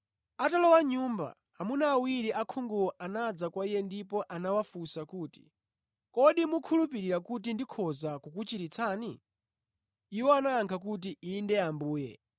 Atalowa mʼnyumba, amuna awiri osaonawo anabwera kwa Iye ndipo anawafunsa kuti, “Kodi mukhulupirira kuti ndikhoza kukuchiritsani?” Iwo anayankha kuti, “Inde Ambuye.”